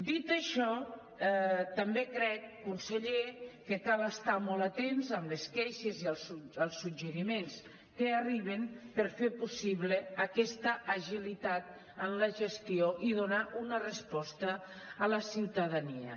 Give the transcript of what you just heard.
dit això també crec conseller que cal estar molt atents a les queixes i als suggeriments que arriben per fer possible aquesta agilitat en la gestió i donar una resposta a la ciutadania